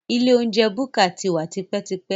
Ilé oúnjẹ búkà ti wà tipẹ́tipẹ́